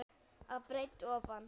að breidd ofan.